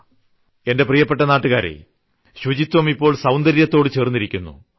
എന്റെ പ്രിയപ്പെട്ട നാട്ടുകാരേ ശുചിത്വം ഇപ്പോൾ സൌന്ദര്യത്തോടു ചേർന്നിരിക്കുന്നു